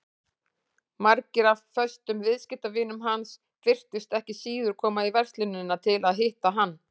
Margir af föstum viðskiptavinum hans virtust ekki síður koma í verslunina til að hitta hann.